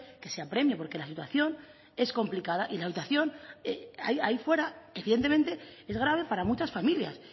que se apremie porque la situación es complicada y la situación ahí fuera evidentemente es grave para muchas familias